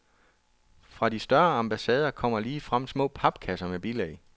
Fra de større ambassader kommer ligefrem små papkasser med bilag.